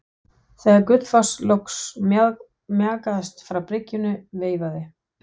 Þegar Gullfoss loks mjakaðist frá bryggjunni veifaði